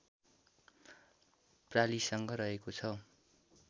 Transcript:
प्रालिसँग रहेको छ